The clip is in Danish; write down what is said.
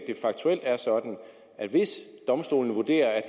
faktuelt er sådan at hvis domstolene vurderer at